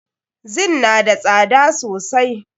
Zin na da tsada sosai.